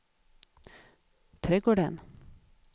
trädgården